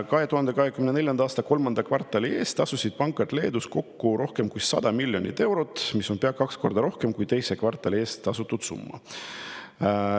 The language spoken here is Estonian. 2024. aasta kolmanda kvartali eest tasusid pangad Leedus kokku rohkem kui 100 miljonit eurot, mis on pea kaks korda rohkem kui teise kvartali eest tasutud summa.